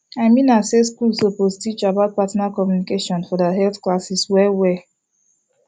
i mean am say schools suppose teach about partner communication for their health classes well well